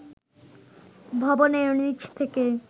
ভবনের নিচ থেকে